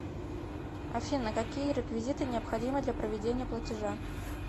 афина какие реквизиты необходимы для проведения платежа